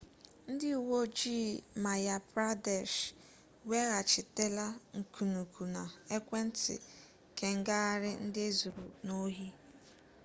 ndị uwe ojii madhya pradesh weghachitela nkunụkwụ na ekwentị kengagharị ndị e zuru n'ohi